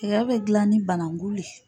Tɛgɛ bɛ gilan ni banangu le.